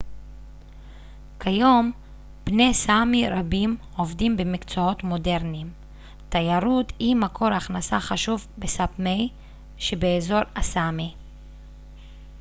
כיום בני סאמי רבים עובדים במקצועות מודרניים תיירות היא מקור הכנסה חשוב בסאפמי שבאזור הסאמי